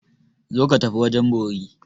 Zo ka tafi wajen bori!